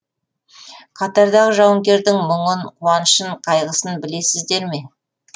қатардағы жауынгердің мұңын қуанышын қайғысын білесіздер ме